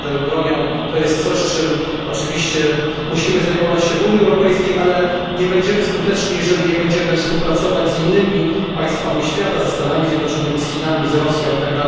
Handel bronią to jest coś, czym oczywiście musimy się zajmować w Unii Europejskiej, ale nie będziemy skuteczni, jeżeli nie będziemy współpracować z innymi państwami świata, ze Stanami Zjednoczonymi, z Chinami, z Rosja, itd.